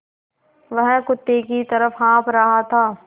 वह कुत्ते की तरह हाँफ़ रहा था